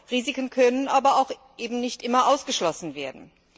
Risiken können aber eben auch nicht immer ausgeschlossen werden.